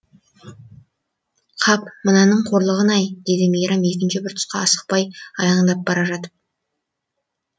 қап мынаның қорлығын ай деді мейрам екінші бір тұсқа асықпай аяңдап бара жатып